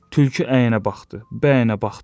Tülkü əyənə baxdı, bəyənə baxdı.